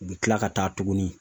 U bɛ kila ka taa tuguni